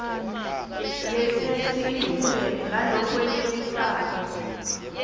yetheksthi ibumbene ngalokwenetisako